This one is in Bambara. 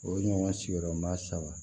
O ye ɲɔgɔn sigiyɔrɔ ma saba